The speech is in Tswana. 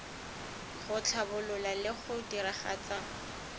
go tlhabolola le go diragatsa